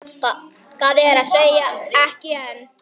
Það er að segja, ekki enn.